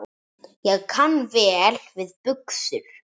Ég kann vel við buxur.